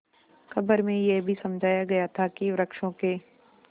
खबर में यह भी समझाया गया था कि वृक्षों के